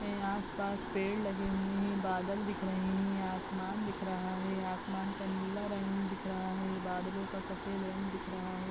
है आस-पास पेड़ लगे हुए हैं। बादल दिख रहे हैं। आसमान दिख रहा है। आसमान का नीला रंग दिख रहा है। बादलों का सफ़ेद रंग दिख रहा है।